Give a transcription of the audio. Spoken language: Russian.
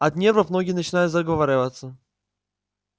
от нервов многие начинают заговариваться